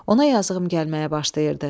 Ona yazığım gəlməyə başlayırdı.